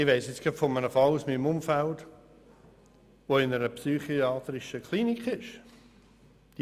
Ich weiss jetzt gerade von einem Fall aus meinem Umfeld, wo jemand in einer psychiatrischen Klinik ist.